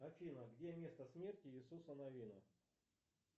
афина где место смерти иисуса навина